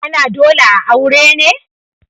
ana dole a aure ne?